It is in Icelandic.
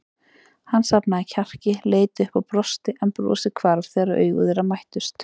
Hann safnaði kjarki, leit upp og brosti en brosið hvarf þegar augu þeirra mættust.